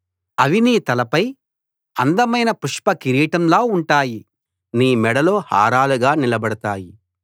అవి నీ తలపై అందమైన పుష్ప కిరీటంలా ఉంటాయి నీ మెడలో హారాలుగా నిలబడతాయి